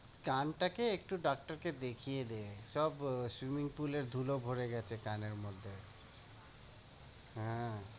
কানটাকে একটু doctor কে দেখিয়ে দে, সব আহ swimming pool এর ধুলো ভরে গেছে কানের মধ্যে।